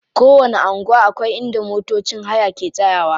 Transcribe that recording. Kowanni anguwa akwai inda motocin haya ke tsayawa.